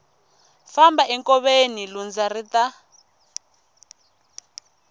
famba enkoveni lundza ri ta